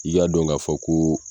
I y'a dɔn k'a fɔ ko